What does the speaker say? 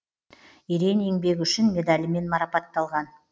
ерен еңбегі үшін медалімен марапатталған